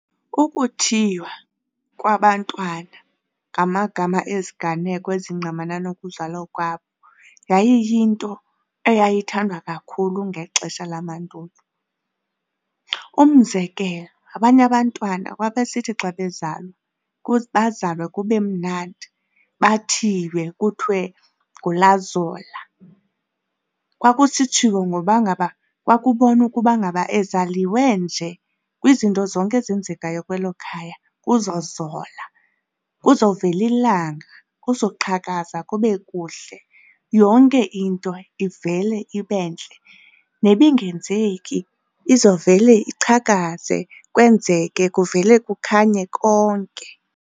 Ukuthiywa kwabantwana ngamagama eziganeko ezingqamana nokuzalwa kwabo yayiyinto eyayithandwa kakhulu ngexesha lamandulo. Umzekelo, abanye abantwana babesithi xa bezalwa bazalwe kube mnandi, bathiywe kuthiwe nguLazola. Kwakusitshiwo ngoba ngaba kwakubonwa ukuba ngaba ezaliwe nje kwizinto zonke ezenzekayo kwelo khaya kuzozola, kuzovela ilanga, kuzoqhakaza kube kuhle, yonke into ivele ibe ntle, nebingenzeki izovele iqhakaza kwenzeke, kuvele kukhanye konke.